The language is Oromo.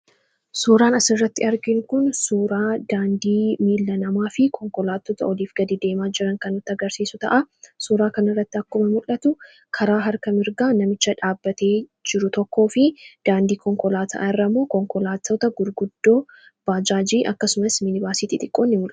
suuraan asirratti argiinu kun suuraa daandii miilla namaa fi konkolaattoota oliif gad deemaa jiran kanati agarsiisu ta'a suuraa kan irratti akkuma mul'atu karaa harka mirgaa namicha dhaabbatee jiru tokkoo fi daandii konkolaataa irrammoo konkolaatoota gurguddoo baajaajii akkasumas minibaasiitii xiqqoo ni mul'atu.